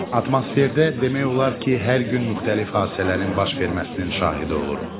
Atmosferdə demək olar ki, hər gün müxtəlif hadisələrin baş verməsinin şahidi oluruq.